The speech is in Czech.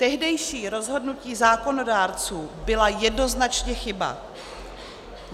Tehdejší rozhodnutí zákonodárců byla jednoznačně chyba.